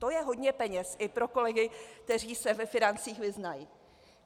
To je hodně peněz i pro kolegy, kteří se ve financích vyznají.